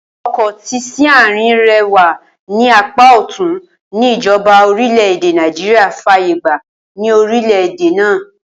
O̩kò̩ tí s̩íárìn rè̩ wà ní apá ò̩tún ní ìjo̩ba orílè̩-èdè Nàìjíríà fàyè gba ní orílè̩ èdè náà